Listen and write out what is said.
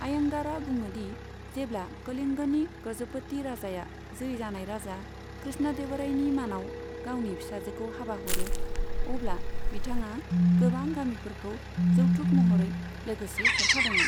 आय्यांगारआ बुङो दि जेब्ला कलिंग'नि गज'पति राजाया जै जानाय राजा कृष्णदेवरायनि मानाव गावनि फिसाजोखौ हाबा हरो, अब्ला बिथाङा गोबां गामिफोरखौ जौथुक महरै लोगोसे हरफादोंमोन।